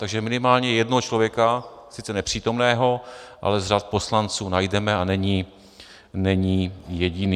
Takže minimálně jednoho člověka, sice nepřítomného, ale z řad poslanců najdeme a není jediný.